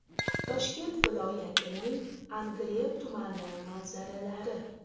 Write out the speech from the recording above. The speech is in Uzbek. Toshkent viloyatining Angren tumani manzaralari.